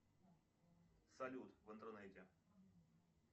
салют в интернете